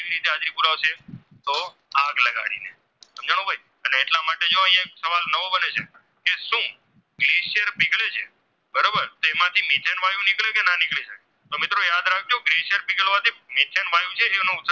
Methen વાયુ જે તેનો ઉત્સર્જન